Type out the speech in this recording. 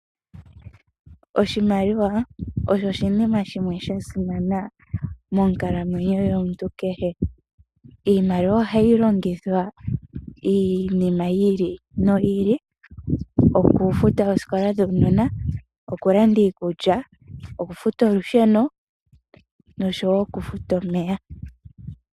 Oshimaliwa osho oshinima shimwe shasimana monkalamwenyo yomuntu kehe. Iimaliwa ohayi longithwa iinima yi ili noyi ili okufuta oosikola dhuunona, okulanda iikulya, okfuta olusheno nosho wo okufuta omeya.